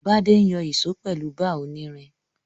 Bádé n yo ìso pèlu bar onírin